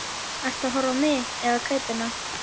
Ertu að horfa á mig eða kápuna?